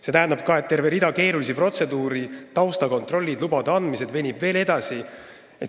See tähendaks, et terve rida keerulisi protseduure – taustakontrollid, lubade andmised – veniks veelgi edasi.